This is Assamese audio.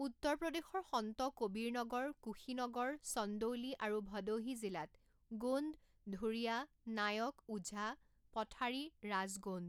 উত্তৰপ্ৰদেশৰ সন্ত কবীৰনগৰ, কুশীনগৰ, চন্দৌলী আৰু ভদোহী জিলাত গোণ্ড, ধুৰিয়া, নায়ক, ওঝা, পঠাৰী, ৰাজগোণ্ড